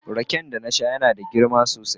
Rake da na saya yana da girma sosai.